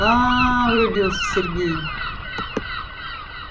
аа врубился сергей